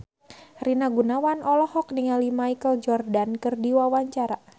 Rina Gunawan olohok ningali Michael Jordan keur diwawancara